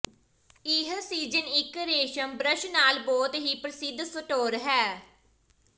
ਇਹ ਸੀਜ਼ਨ ਇੱਕ ਰੇਸ਼ਮ ਬ੍ਰਸ਼ ਨਾਲ ਬਹੁਤ ਹੀ ਪ੍ਰਸਿੱਧ ਸੋਟੋਰ ਹੈ